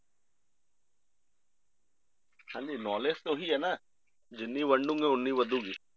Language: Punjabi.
ਹਾਂਜੀ knowledge ਤਾਂ ਉਹ ਹੀ ਹੈ ਨਾ ਜਿੰਨੀ ਵੰਡੋਂਗੇ ਉਨੀ ਵੱਧੇਗੀ